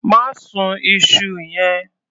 Má sun iṣu yẹn.